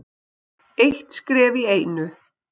Eitt skref í einu.